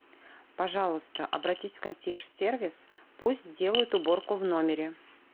пожалуйста обратись в консьерж сервис пусть сделают уборку в номере